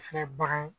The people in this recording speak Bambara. Fɛn bagan